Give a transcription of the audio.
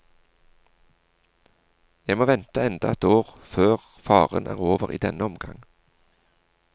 Jeg må vente enda ett år før faren er over i denne omgang.